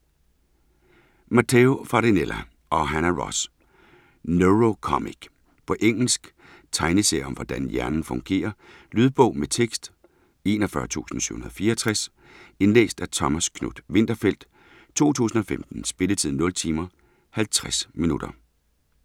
Matteo Farinella og Hana Ros: Neurocomic På engelsk. Tegneserie om hvordan hjernen fungerer. Lydbog med tekst 41764 Indlæst af Thomas Knuth-Winterfeldt, 2015. Spilletid: 0 timer, 50 minutter.